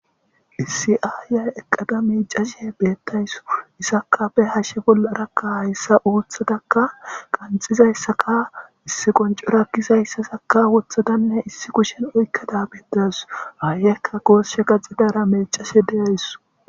Issi ayiya eqada micashe betawusu Izakka be hashe bollarakka haysa othadakka qaxizaysakka Issi qonchoro gizaysazakka Wothadanne Issi kushen Oykada betawusu ayiyakka goshi gaxiizara micashe dawusu